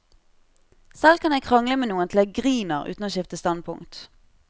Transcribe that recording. Selv kan jeg krangle med noen til jeg griner uten å skifte standpunkt.